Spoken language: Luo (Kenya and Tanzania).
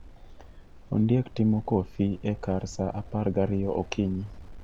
Ondiek timo kofi e kar saa apar gariyo okinyi